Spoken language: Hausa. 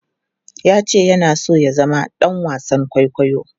Ya ce yana so ya zama ɗan wasan kwaikwayo.